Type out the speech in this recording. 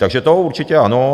Takže to určitě ano.